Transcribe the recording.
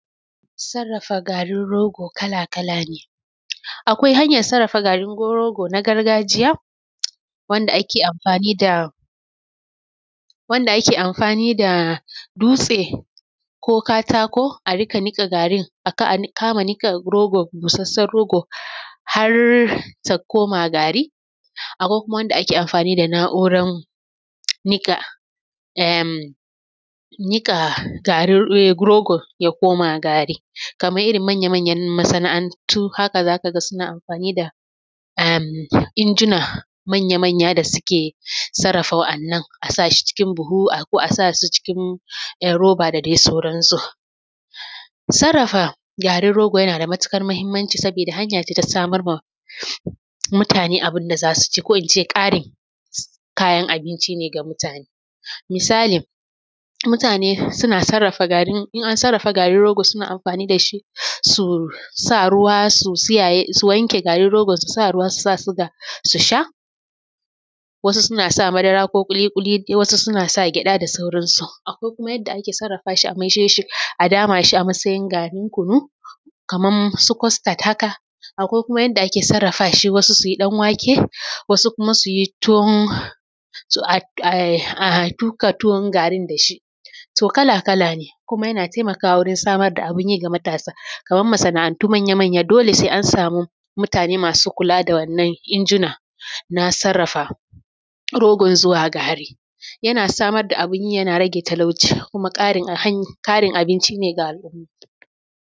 Sarrafa garin rogo kala kala ne akwai hanyar sarrafa garin rogo na gargajiya wanda ake amfani da dutse ko katako a kama nuka busassan rogon har ta koma gari akwai kuma wanda ake amfani da na'urar nika garin um rogon ya koma gari kaman irin manyamanyan masanaantu haka za ka gaa suna amfani da[um] injina manya da suke sarrafa wannan a sa su cikin buhu ko roba da dai sauransu. Sarrafa garin rogo yana da matukar muhmmanci saboda hanya ce da za'a kara samar ma mutane abincin da zasu ci akwai kuma yadda ake sarrafa shi a maida shi Kaman garin kunu kaman su costard haka wasu kuma suna yin danwake ko tuka tuwo da shi kuma yana samar da abun yi ga matasa Kaman wadannan manyan masanaantu sai an samu mutane masu kula da wadannan injina na tsarafa rogo zuwa gari yana samar da abunyi yana rage talauci kuma karin abinci ne ga alumma.